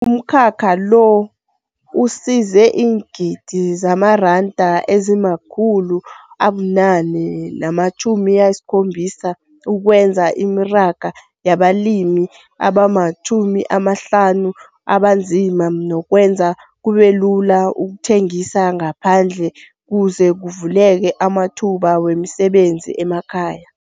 Umkhakha lo usise iingidi zamaranda ezima-870 ukwenza imaraga yabalimi abama-50 abanzima nokwenza kubebulula ukuthengisa ngaphandle kuze kuvuleke amathuba wemisebenzi emakhaya.